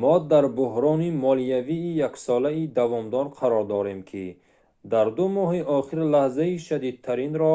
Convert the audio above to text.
мо дар буҳрони молиявии яксолаи давомдор қарор дорем ки дар ду моҳи охир лаҳзаи шадидтаринро